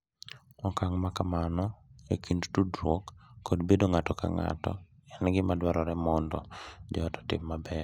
Okang’ ma kamano e kind tudruok kod bedo ng’ato ka ng’ato en gima dwarore mondo joot otim maber.